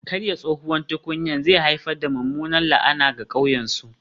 Karye tsohuwar tukunyar zai haifar da mummunar la'ana ga ƙauyen su